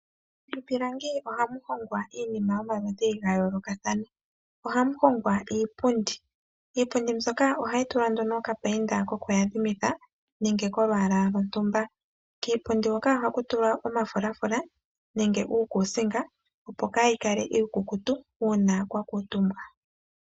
Miipilangi ohamu hongwa iinima yomaludhi ga yoolokathana ohamu hongwa iipundi. Iipundi mbyoka ohayi tulwa nduno oka painda koku yadhimitha nenge kolwaalwa lwo ntumba. Kiipundi hoka ohaku tulwa omafulafula nenge uukusinga opo kayi kale iikukutu uuna kwa kuuntumbwa.